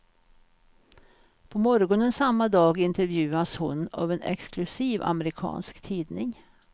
På morgonen samma dag intervjuas hon av en exklusiv amerikansk tidning.